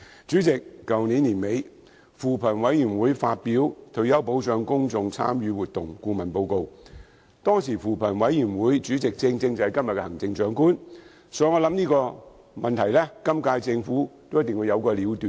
主席，去年年底，扶貧委員會發表《退休保障公眾參與活動報告》，當時的扶貧委員會主席，正正就是今天的行政長官，所以我想這個問題今屆政府一定會有個了斷。